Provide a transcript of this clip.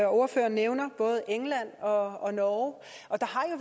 og ordføreren nævner både england og og norge og der